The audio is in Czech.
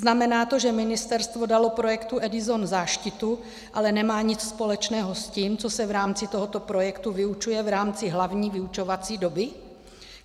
Znamená to, že ministerstvo dalo projektu EDISON záštitu, ale nemá nic společného s tím, co se v rámci tohoto projektu vyučuje v rámci hlavní vyučovací doby?